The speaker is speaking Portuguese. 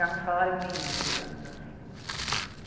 Ganhava um salário mínimo, digamos assim.